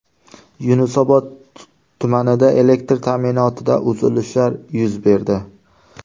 Yunusobod tumanida elektr ta’minotida uzilishlar yuz berdi.